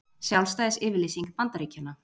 Sjálfstæðisyfirlýsing Bandaríkjanna.